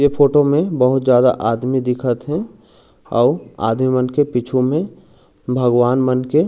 ये फोटो में बहुत ज्यादा आदमी दिखत हे अउ आदमी मन के पिछु में भगवान मन के--